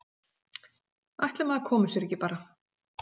Ætli maður komi sér ekki bara.